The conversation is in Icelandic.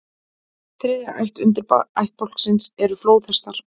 Þriðja ætt undirættbálksins eru flóðhestar.